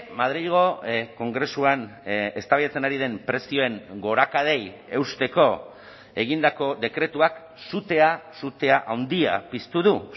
madrilgo kongresuan eztabaidatzen ari den prezioen gorakadei eusteko egindako dekretuak sutea sutea handia piztu du